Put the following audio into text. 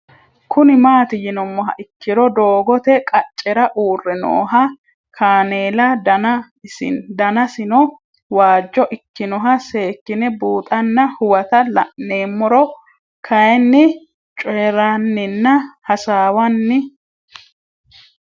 Kuni mati yinumoha ikiro doogote qacera uure nooha kaneela Dana sino wajjo ikinoha seekine buuxana huwata la'nemoro kayini coyiranina hasawani